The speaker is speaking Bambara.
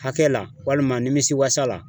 Hakɛ la walima nimisiwasa la